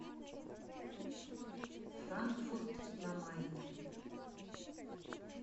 франкфурт на майне